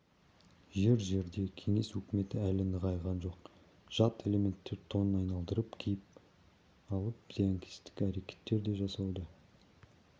жер-жерде кеңес өкіметі әлі нығайған жоқ жат элементтер тонын айналдырып киіп алып зиянкестік әрекеттер де жасауда